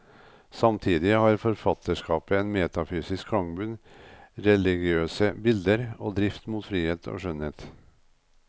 Samtidig har forfatterskapet en metafysisk klangbunn, religiøse bilder og drift mot frihet og skjønnhet.